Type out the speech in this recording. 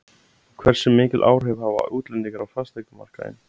En hversu mikil áhrif hafa útlendingar á fasteignamarkaðinn?